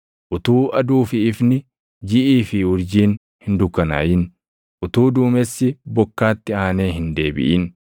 utuu aduu fi ifni, jiʼii fi urjiin hin dukkanaaʼin, utuu duumessi bokkaatti aanee hin deebiʼin,